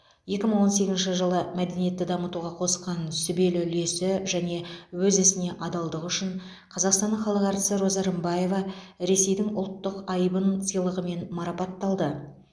екі мың он сегізінші жылы мәдениетті дамытуға қосқан сүбелі үлесі және өз ісіне адалдығы үшін қазақстанның халық әртісі роза рымбаева ресейдің ұлттық айбын сыйлығымен марапатталды